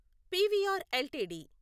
PVR LTD